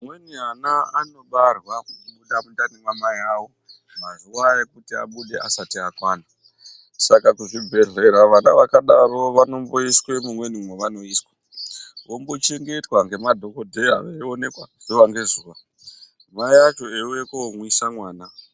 Amweni ana anobarwa kubuda mundani mwamai avo mazuwa ekuti abude asati akwana. Saka kuzvibhendlera vana vakadaro vanomboiswa mumweni mwavanoiswa. Vombochengetwa ngemadhokodheya veionekwa zuwa ngezuwa mai acho veiuya koomwisa mwana.